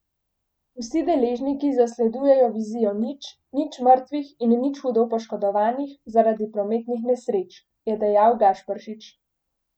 Vsi deležniki zasledujejo Vizijo nič, nič mrtvih in nič hudo poškodovanih zaradi prometnih nesreč, je dejal Gašperšič.